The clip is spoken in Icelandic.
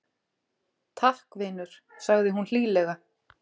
Takk, vinur- sagði hún hlýlega.